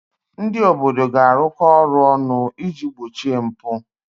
Ndị obodo ga-arụkọ ọrụ ọnụ iji gbochie mpụ.